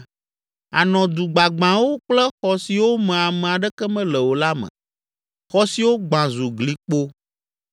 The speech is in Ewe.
anɔ du gbagbãwo kple xɔ siwo me ame aɖeke mele o la me, xɔ siwo gbã zu glikpo.